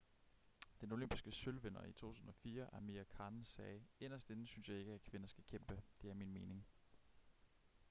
den olympiske sølvvinder i 2004 amir khan sagde inderst inde synes jeg ikke at kvinder skal kæmpe det er min mening